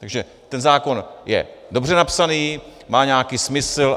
Takže ten zákon je dobře napsaný, má nějaký smysl.